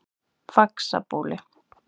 Faxabóli